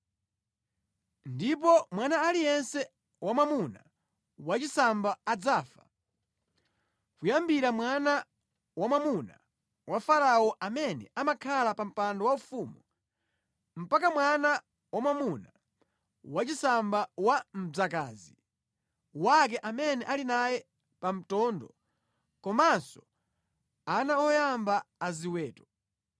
Ndipo mwana aliyense wamwamuna wachisamba adzafa, kuyambira mwana wamwamuna wa Farao amene amakhala pa mpando waufumu, mpaka mwana wamwamuna wachisamba wa mdzakazi wake amene ali naye pa mtondo, komanso ana oyamba a ziweto.